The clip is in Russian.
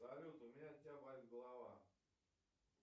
салют у меня от тебя болит голова